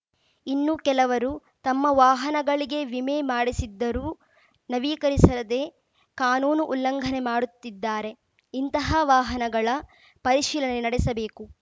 ಇನ್ನು ಕೆಲವರು ತಮ್ಮ ವಾಹನಗಳಿಗೆ ವಿಮೆ ಮಾಡಿಸಿದ್ದರೂ ನವೀಕರಿಸದೆ ಕಾನೂನು ಉಲ್ಲಂಘನೆ ಮಾಡುತ್ತಿದ್ದಾರೆ ಇಂತಹ ವಾಹನಗಳ ಪರಿಶೀಲನೆ ನಡೆಸಬೇಕು